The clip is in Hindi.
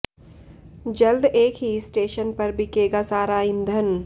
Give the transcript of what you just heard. जल्द एक ही स्टेशन पर बिकेगा सारा ईंधन